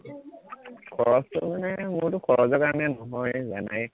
খৰছটো মানে মোৰতো খৰছৰ কাৰণে নহয়েই জানায়েই